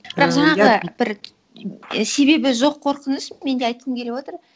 бірақ жаңағы бір себебі жоқ қорқыныш мен де айтқым келіп отыр